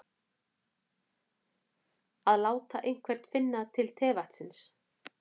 Að láta einhvern finna til tevatnsins